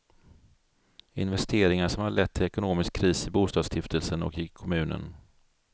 Investeringar som har lett till ekonomisk kris i bostadsstiftelsen och i kommunen.